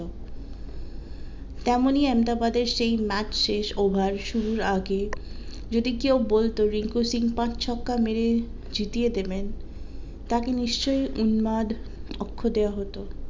তেমনই আমেদাবাদের সেই ম্যাচ শেষ ওভার শুরুর আগে যদি কেউ বলতো রিঙ্কু সিং পাঁচ ছক্কা মেরে জিতিয়ে দেবেন তাকে নিশ্চই দেওয়া হতো।